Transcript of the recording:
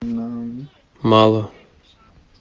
мало